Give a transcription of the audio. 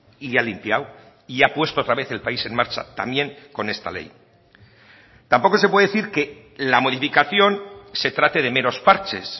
y ha limpiado y ha puesto otra vez el país en marcha también con esta ley tampoco se puede decir que la modificación se trate de meros parches